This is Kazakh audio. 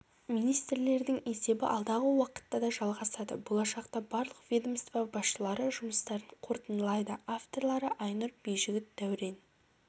министрлердің есебі алдағы уақытта да жалғасады болашақта барлық ведомство басшылары жұмыстарын қортындылайды авторлары айнұр байжігіт дәурен